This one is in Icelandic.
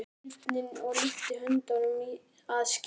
Hljóðaði sveinninn og lyfti höndinni að skímunni.